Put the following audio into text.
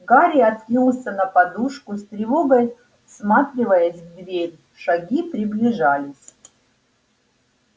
гарри откинулся на подушку с тревогой всматриваясь в дверь шаги приближались